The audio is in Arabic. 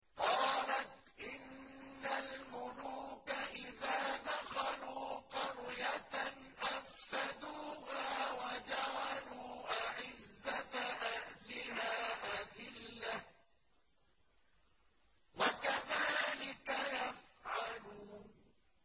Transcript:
قَالَتْ إِنَّ الْمُلُوكَ إِذَا دَخَلُوا قَرْيَةً أَفْسَدُوهَا وَجَعَلُوا أَعِزَّةَ أَهْلِهَا أَذِلَّةً ۖ وَكَذَٰلِكَ يَفْعَلُونَ